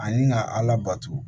Ani ka ala bato